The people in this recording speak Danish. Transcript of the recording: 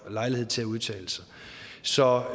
får lejlighed til at udtale sig så